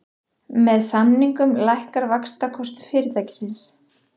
Með samningunum lækkar vaxtakostnaður fyrirtækisins